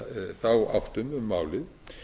þá áttum um málið